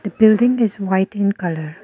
a building is white in colour.